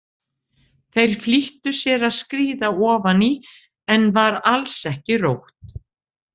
Þeir flýttu sér að skríða ofan í en var alls ekki rótt.